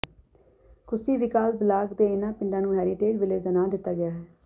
ਕੁੱਸੀ ਵਿਕਾਸ ਬਲਾਕ ਦੇ ਇਨ੍ਹਾਂ ਪਿੰਡਾਂ ਨੂੰ ਹੈਰੀਟੇਜ ਵਿਲੇਜ ਦਾ ਨਾਂ ਦਿੱਤਾ ਗਿਆ ਹੈ